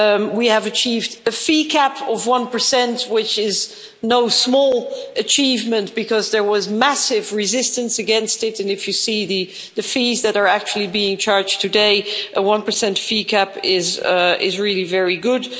we have achieved a fee cap of 1, which is no small achievement because there was massive resistance against it, and if you see the fees that are actually being charged today, a 1 fee cap is really very good.